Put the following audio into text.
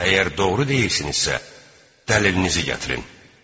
Əgər doğru deyirsinizsə, dəlilinizi gətirin!